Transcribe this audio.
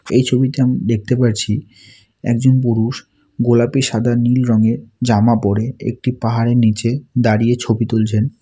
এই ছবিতে আম দেখতে পারছি একজন পুরুষ গোলাপি সাদা নীল রঙের জামা পরে একটি পাহাড়ের নীচে দাঁড়িয়ে ছবি তুলছেন।